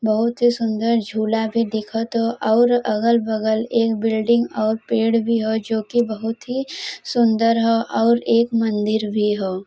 बहुत ही सुंदर झूला भी दिखत हऊ और अगल बगल एक बिल्डिंग और पेड़ भी ह जोकि बहुत ही सुंदर ह और एक मंदिल भी ह ।